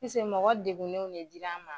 mɔgɔ degunenw ne dira an ma.